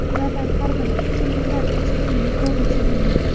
Ulardan har biri ikki mingdan uch ming yevrogacha bo‘lgan.